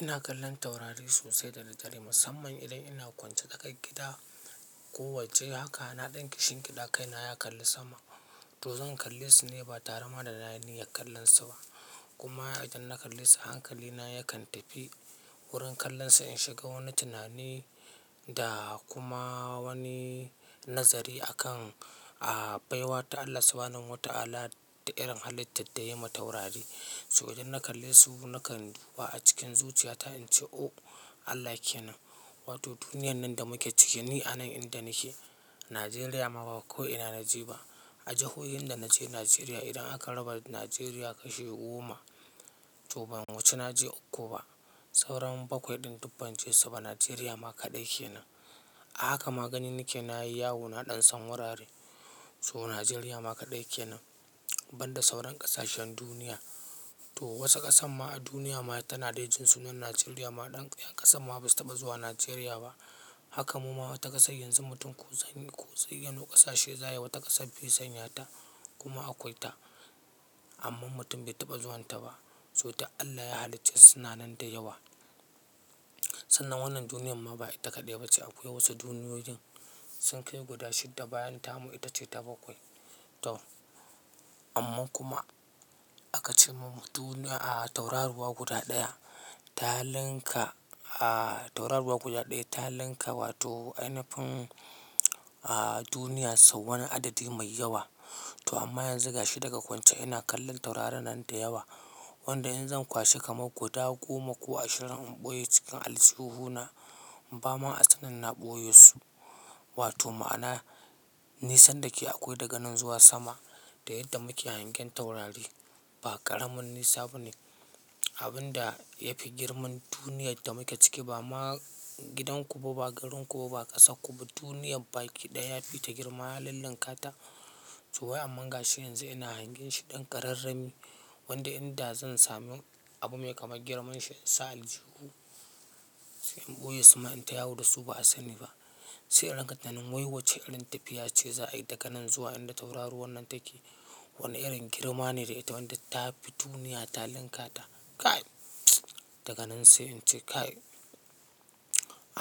Ina kallon taurari sosai dadaddare, musamman idan ina kwance tsakar gida ko waje haka, na ɗan kishingiɗa, kaina ya kalli sama. To zan kalle su ne ba tare ma da nayi kallon su ba. Kuma idan na kalle su hankali na yakan tafi wurin kallon su in shiga wani tunani da kuma wani nazari akan baiwa ta Allah subhanahu wa ta'ala da irin halittan da ya yi ma taurari. So idan na kalle su nakan duba cikin zuciyata in ce "o Allah kenan! Wato duniyan nan da muke ciki, ni a nan inda nake, Nijeriya ma ba ko ina na je ba. A jihohin da na je Nijeriya idan aka raba Nijeriya kashi goma, to ban wuce na je uku ba. Saura bakwai ɗin duk ban je su ba, Najeriya ma kaɗai kenan. Haka ma ganin nake na yi yawo na ɗan san wurare. So Najeriya ma kaɗai kenan banda sauran ƙasashen duniya. To wasu ƙasan ma a duniya ma tana dai jin sunan Najeriya ma dan-- yan ƙasa ma basu taɓa zuwa Najeriya ba. Haka mu ma wata ƙasar yanzu mutum ko zanyi ko zayyano ƙasashe za a yi, wata ƙasa bai sanya ta, kuma akwai ta. Amma mutum bai taɓa zuwanta ba. So duk Allah ya halicce su sunanan da yawa. Sannan wannan duniyan ma ba ita kaɗai ba ce. Akwai wasu duniyoyin sun kai guda shidda bayan tamu ita ce ta bakwai. To amma kuma aka ce mun duniya a tauraruwa guda ɗaya ta linka a tauraruwa guda ɗaya ta linka wato ainafin duniyar sau wani adadi mai yawa. To amma yanzu gashi daga kwance ina kallon taurarin nan da yawa, wanda in zan kwashe kamar guda goma ko ashirin in ɓoye su cikin aljihu na, ba ma a sanin na ɓoye su. Wato ma'ana nisan da ke akwai daga nan zuwa sama da yadda muke hangen taurari, ba ƙaramin nisa ba ne. Abun da ya fi girman duniyar da muke ciki ba ma gidan ku ba, ba garin ku ba, ba ƙasar ku ba, duniyar baki ɗaya yafi ta girma, ya lullunka ta. To wai amma gashi yanzu ina hangen shi ɗan kararrami wanda inda zan sami abu mai kamar girman shi in sa a aljihu in ɓoye su ma in ta yawo da su ba a sani ba. Sai in rinka tunanin "wai wacce irin tafiya ce za a yi daga nan zuwa inda tauraruwan nan take. Wani irin girma ne da ita wanda ta fi duniya ta linka ta? Kai!" Daga nan sai in ce kai!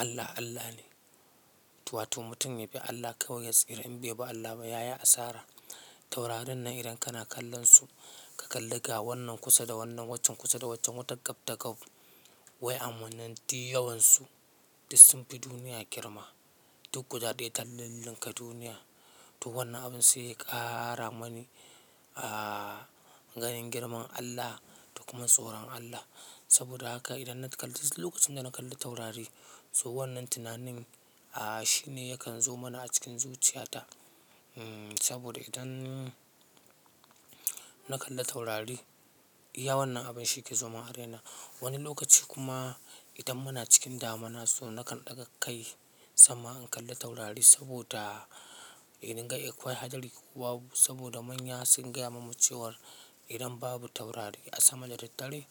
Allah Allah ne. To wato mutum ya bi Allah kawai ya tsira in bai bi Allah ba ya yi asara. Taurarin nan idan kana kallon su ka kalli ga wannan kusa da wannan waccan kusa da waccan wata gab da gab. Wai amman nan duk yawansu duk sun fi duniya girma. Duk guda ɗaya ta lullunka duniya. To wannan abun sai ya ƙara mani ganin girman Allah da kuma tsoron Allah. Saboda haka idan na kalli-- duk lokacin da na kalli taurari so wannan tunanin a shi ne yakan zo mini a cikin zuciyata. Saboda idan na kalli taurari, iya wannan abun shi ke zo mun a raina. Wani lokaci kuma idan muna cikin damina so nakan ɗaga kai sama in kalli taurari saboda in ga akwai hadari ko babu. Saboda manya sun gaya mamu cewa idan babu taurari a sama da daddare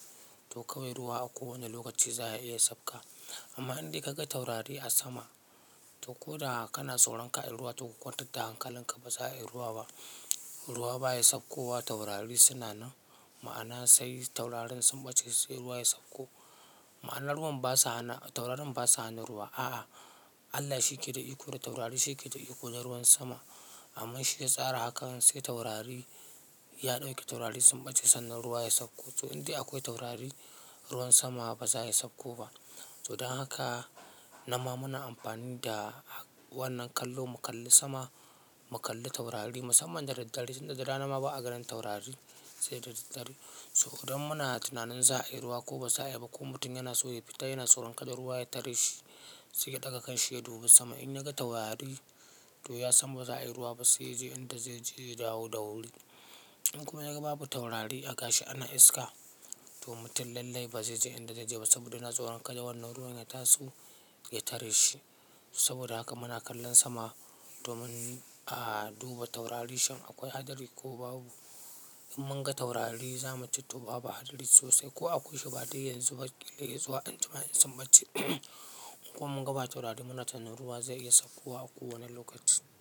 to kawai ruwa a kowane lokaci za ya iya sauka. Amma in dai ka ga taurari a sama, to ko da kana tsoron kar a yi ruwa to ka kwantar da hankalinka, ba za a yi ruwa ba. Ruwa ba ya saukowa taurari suna nan. Ma'ana sai taurarin sun ɓace sai ruwa ya sauko. Ma'ana ruwan basa hana-- taurarin basa hana ruwa. A'a Allah shi ke da iko da taurari shi ke da iko da ruwan sama. Amma shi ya tsara haka sai taurari ya ɗauke, taurari sun ɓace sannan ruwa ya sauko. To in dai akwai taurari ruwan sama ba za ya sauko ba. To don haka nan ma muna amfani da wannan kallo mu kalli sama, mu kalli taurari musamman da daddare. Tun da rana ma ba a ganin taurari, sai da daddare. So idan muna tunanin za a yi ruwa ko ba za a yi ba kuma mutum yana so ya fita yana tsoron kada ruwa ya tare shi, sai ya ɗaga kanshi ya duba sama in ya ga taurari to ya san ba za a yi ruwa ba sai yaje inda zai je ya dawo da wuri. In kuma ya ga babu taurari gashi ana iska to mutum lallai ba zai je inda zai je ba saboda yana tsoron kada wannan ruwan ya taso ya tare shi. Saboda haka muna kallon sama domin a duba taurari shin akwai hadari ko babu. In mun ga taurari za mu ce to babu hadari sosai ko akwai shi ba dai yanzu ba, kila ya zo anjima in sun bace. In kuma mun ga ba taurari muna tunanin ruwa zai iya saukowa a kowane lokaci.